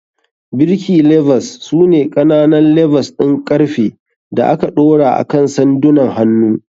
Birki levers su ne ƙananan levers ɗin ƙarfe da aka ɗora akan sandunan hannu.